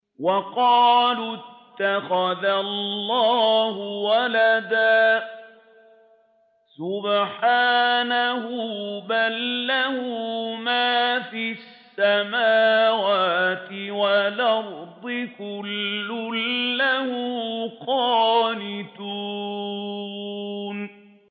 وَقَالُوا اتَّخَذَ اللَّهُ وَلَدًا ۗ سُبْحَانَهُ ۖ بَل لَّهُ مَا فِي السَّمَاوَاتِ وَالْأَرْضِ ۖ كُلٌّ لَّهُ قَانِتُونَ